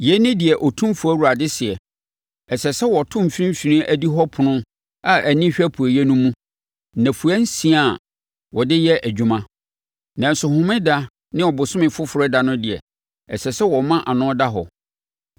“ ‘Yei ne deɛ Otumfoɔ Awurade seɛ: Ɛsɛ sɛ wɔto mfimfini adihɔ ɛpono a ani hwɛ apueeɛ no mu nnafua nsia a wɔde yɛ adwuma, nanso Homeda ne Ɔbosome Foforɔ ɛda no deɛ, ɛsɛ sɛ wɔma ano da hɔ.